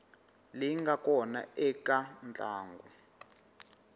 leyi nga kona eka ntlangu